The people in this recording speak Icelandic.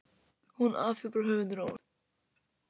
Hún afhjúpar höfundinn- óvart.